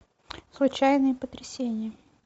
случайные потрясения